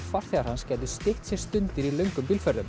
farþegar hans gætu stytt sér stundir í löngum